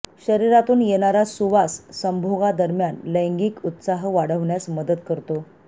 शरीरातून येणारा सुवास संभोगा दरम्यान लैंगिक उत्साह वाढवण्यास मदत करतो